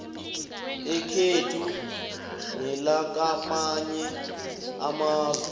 ekhethu nelakamanye amazwe